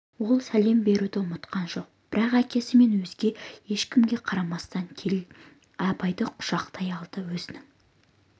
ол сәлем беруді ұмытқан жоқ бірақ әкесі мен өзге ешкімге қарамастан келе абайды құшақтай алды өзінің